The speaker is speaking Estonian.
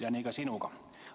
Ja nii on ka sinuga.